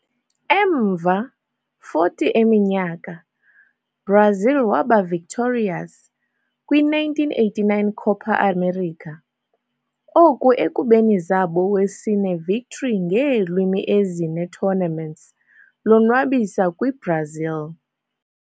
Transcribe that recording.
Emva 40 eminyaka, Brazil waba victorious kwi - 1989 Copa América, oku ekubeni zabo wesine victory ngeelwimi ezine tournaments lonwabisa kwi-Brazil.